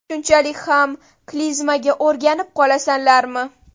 Shunchalik ham klizmaga o‘rganib qolasanlarmi?